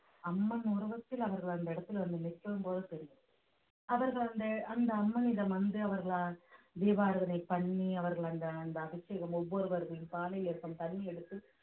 அம்மன் உருவத்தில் அவர்கள் அந்த இடத்துல வந்து நிற்கும்போது தெரியும் அவர்கள் அந்த அந்த அம்மனிடம் வந்து அவர்களால் தீபாராதனை பண்ணி அவர்கள் அந்த அந்த அபிஷேகம் ஒவ்வொருவர்களின் பானையில் இருக்கும் தண்ணி எடுத்து